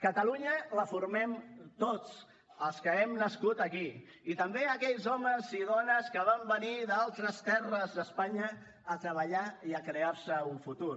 catalunya la formem tots els que hem nascut aquí i també aquells homes i dones que van venir d’altres terres d’espanya a treballar i a crear se un futur